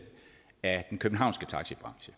er af den københavnske taxabranche